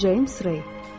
Ceyms Rey.